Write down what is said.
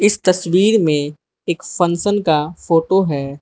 इस तस्वीर में एक फंक्शन का फोटो है।